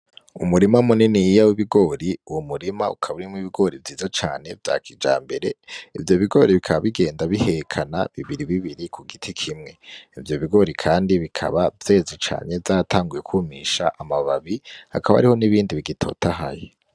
Umurima muniniya w'ibigori uwo murima ukaba urimwo ibigori vyiza cane vya kijambere, ivyo bigori bikaba bigenda birahekana bibiribibiri ku giti kimwe, ivyo bigori kandi bikaba vyeze cane vyatanguye kumisha amababi hakaba hariho nibindi bigitotahaye.